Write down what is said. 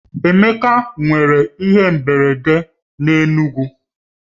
Emeka mere ihe mberede a n'Enugwu